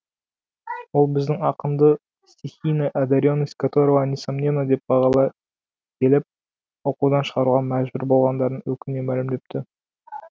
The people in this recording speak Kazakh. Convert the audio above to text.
ол біздің ақынды стихийная одаренность которого несомненна деп бағалай келіп оқудан шығаруға мәжбүр болғандарын өкіне мәлімдепті